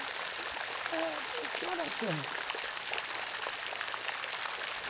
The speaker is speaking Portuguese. Ãh... que horas são?